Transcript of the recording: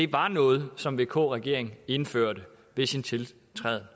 var noget som vk regeringen indførte ved sin tiltræden